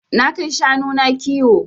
Na kai shanu na kiwo.